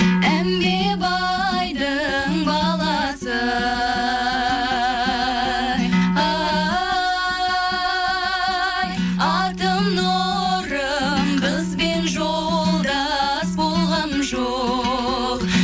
әнге байдың баласы ай атым нұрым қызбен жолдас болған жоқ